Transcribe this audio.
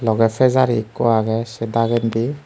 logey fijari ekko agey sei dagendi.